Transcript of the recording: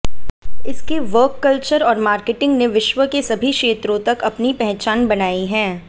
इसके work culture और marketing ने विश्व के सभी क्षेत्रों तक अपनी पहचान बनाई है